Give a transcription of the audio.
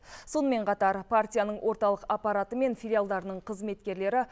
сонымен қатар партияның орталық аппараты мен филиалдарының қызметкерлері